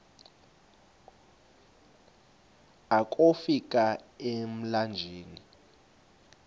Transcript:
akofi ka emlanjeni